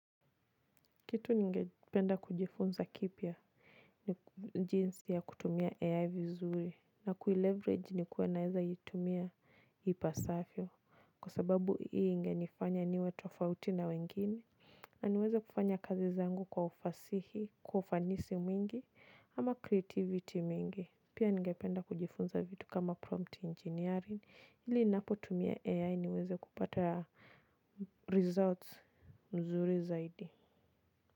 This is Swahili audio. Kitu ningependa kujifunza kipya ni jinsi ya kutumia AI vizuri na kuileverage nikuwe naeza itumia ipasafyo kwa sababu hio ingenifanya niwe tofauti na wengine. Na niweze kufanya kazi zangu kwa ufanisi mwingi ama creativity mwingi. Pia ningependa kujifunza vitu kama prompt engineering ili ninapo tumia AI niweze kupata results mzuri zaidi.